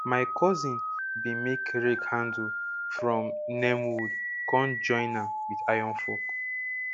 my cousin bin make rake handle from neem wood con join am with iron fork